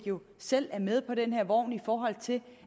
selv er med på den her vogn i forhold til